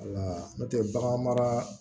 Wala n'o tɛ bagan mara